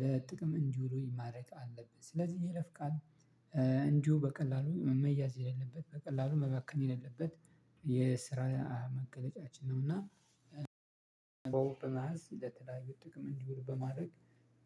ለጥቅም እንዲውሉ ማረግ አለብን። ስለዚህ ይሄ የይለፍ ቃል እንዲሁ በቀላሉ መያዝ የሌለበት በቀላሉ መባከን የሌለበት የስራ መገለጫችን ነው። እና በወግ በመያዝ ለተለያዩ ጥቅም እንዲውል በማድረግ